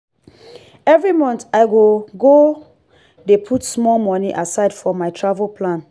every month i go go dey put small money aside for my travel plan.